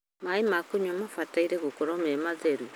Maĩ ma kũnyua mabataire gũkorwo me matheru